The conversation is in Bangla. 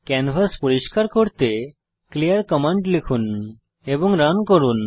ক্যানভাস পরিষ্কার করতে ক্লিয়ার কমান্ড লিখুন এবং রান করুন